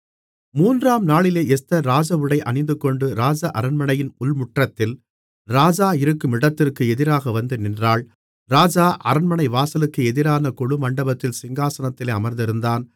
மூன்றாம் நாளிலே எஸ்தர் ராஜஉடை அணிந்துகொண்டு ராஜ அரண்மனையின் உள்முற்றத்தில் ராஜா இருக்கும் இடத்திற்கு எதிராக வந்து நின்றாள் ராஜா அரண்மனைவாசலுக்கு எதிரான கொலுமண்டபத்தில் சிங்காசனத்திலே அமர்ந்திருந்தான்